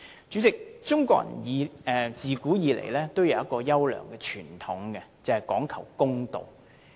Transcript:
主席，中國人自古以來也有一個優良傳統，就是講求公道。